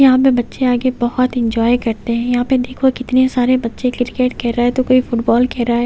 यहां पे बच्चे आगे बहुत एंजॉय करते हैं यहां पे देखो कितने सारे बच्चे क्रिकेट खेल रहा है तो कोई फुटबॉल खेल रहा है।